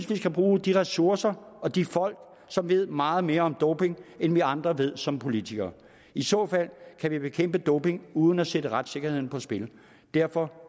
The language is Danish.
vi skal bruge de ressourcer og de folk som ved meget mere om doping end vi andre ved som politikere i så fald kan vi bekæmpe doping uden at sætte retssikkerheden på spil derfor